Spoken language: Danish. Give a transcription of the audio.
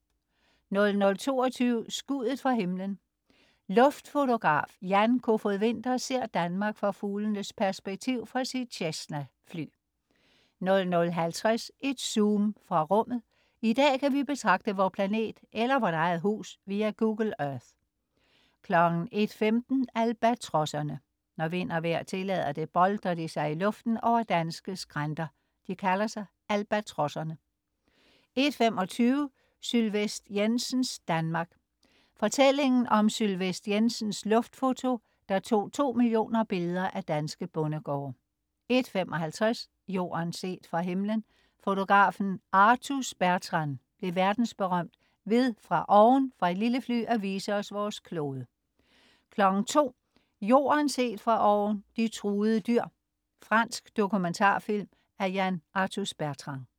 00.22 Skuddet fra himlen. Luftfotograf Jan Kofod Winther ser Danmark fra fuglens perspektiv fra sit Cessna-fly 00.50 Et zoom fra rummet. I dag kan vi betragte vor planet eller vort eget hus via Google Earth 01.15 Albatrosserne. Når vind og vejr tillader det, boltrer de sig i luften over danske skrænter. De kalder sig Albatrosserne 01.25 Sylvest Jensens Danmark. Fortællingen om Sylvest Jensens Luftfoto, der tog to mio. billeder af danske bondegårde 01.55 Jorden set fra himmelen. Fotografen Arthus-Bertrand blev verdensberømt ved fra oven fra et lille fly at vise os vores klode 02.00 Jorden set fra oven: De truede dyr. Fransk dokumentarfilm af Yann Arthus-Bertrand